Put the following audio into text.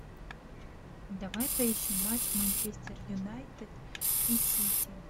давай поищем матч манчестер юнайтед и сити